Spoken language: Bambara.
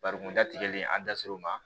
Bari kunda tigɛlen an da ser'o ma